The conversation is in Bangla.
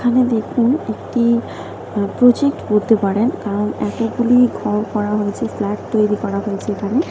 এখানে দেখুন একটি প্রজেক্ট পারেন। কারন এতগুলি ঘর করা হয়েছে ফ্ল্যাট তৈরি করা হয়েছে এখানে --